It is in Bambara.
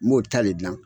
N b'o ta de gilan